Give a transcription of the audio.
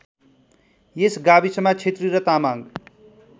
यस गाविसमा क्षेत्री र तामाङ